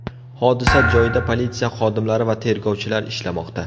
Hodisa joyida politsiya xodimlari va tergovchilar ishlamoqda.